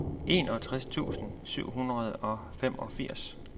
enogtres tusind syv hundrede og femogfirs